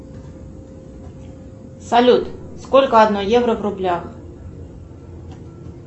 салют сколько одно евро в рублях